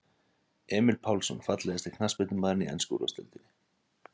Emil Pálsson Fallegasti knattspyrnumaðurinn í ensku úrvalsdeildinni?